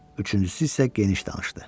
Üçüncüsü isə geniş danışdı.